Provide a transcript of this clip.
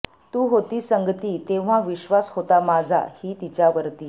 तू होती संगती तेव्हा विश्वास होता माझा हि तिच्या वरती